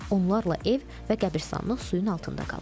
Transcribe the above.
Onlarla ev və qəbiristanlıq suyun altında qalıb.